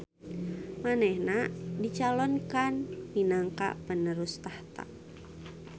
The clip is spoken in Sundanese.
Manehna dicalonkan minangka penerus tahta